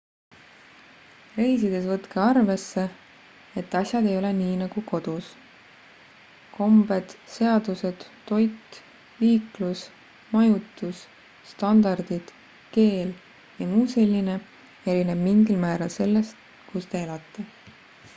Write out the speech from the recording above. reisides võtke arvesse et asjad ei ole nii nagu kodus kombed seadused toit liiklus majutus standardid keel jms erineb mingil määral sellest kus te elate